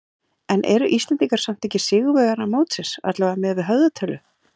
En eru Íslendingar samt ekki sigurvegarar mótsins, allavega miðað við höfðatölu?